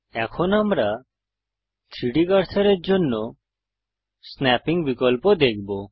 এখন আমরা 3ডি কার্সারের জন্য স্নাপ্পিং বিকল্প দেখব